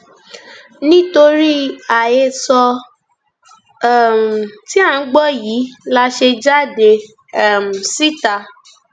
nítorí àhesọ um tí à ń gbọ yìí la ṣe jáde um síta